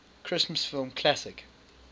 christmas film classic